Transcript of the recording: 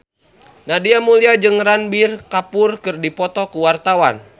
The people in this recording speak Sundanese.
Nadia Mulya jeung Ranbir Kapoor keur dipoto ku wartawan